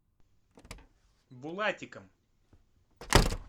булатиком